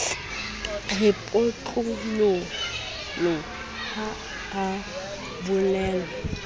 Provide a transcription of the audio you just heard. re potlololo ha a bolellwa